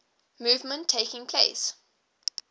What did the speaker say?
movement taking place